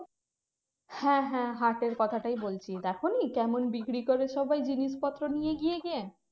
হ্যাঁ হ্যাঁ হাটের কথাটাই বলছি দেখোনি কেমন বিক্রি করে সবাই জিনিসপত্র নিয়ে গিয়ে গিয়ে।